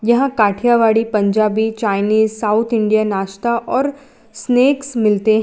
यहां Kathiawadi Punjabi Chinese South Indian नाश्ता और स्नेक्स मिलते हैं।